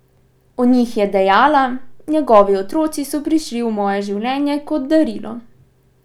O njih je dejala: "Njegovi otroci so prišli v moje življenje kot darilo.